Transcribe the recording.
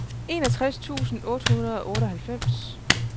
enogtres tusind otte hundrede og otteoghalvfems